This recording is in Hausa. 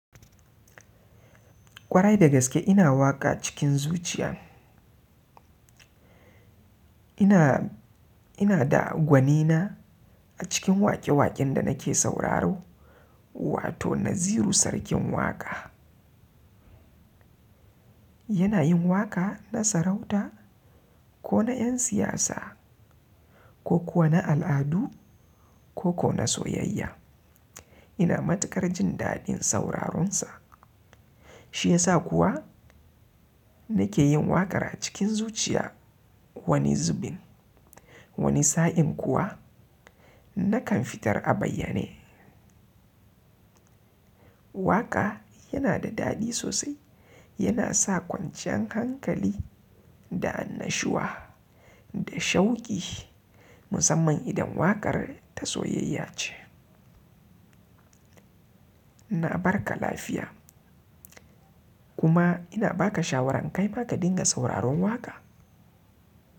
Ƙwarai da gaske ina waƙa cikin zuciya ina, ina da gwanina a cikin waƙe-waƙen da nake sauraro wato Naziru Sarkin Waƙa. Yana yin waƙa na sarauta ko na 'yan siyasa ko kuwa na al'adu ko kuwa na soyayya. Ina matuƙar jin daɗin sauraron sa. Shi ya sa kuwa nake yin waƙar a cikin zuciya wani zubin, wani sa'in kuwa nakan fitar a bayyane. Waƙa yana da daɗi sosai, yana sa kwanciyan hankali da annashuwa da shauƙi musamman idan waƙar ta soyayya ce. Na barka lafiya, kuma ina baka shawaran kaima ka ringa sauraron waƙa.